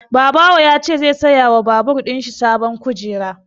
Babawo ya ce zai saya wa babur ɗin shi sabon kujera